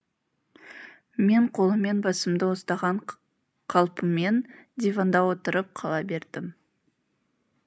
мен қолыммен басымды ұстаған қалпыммен диванда отырып қала бердім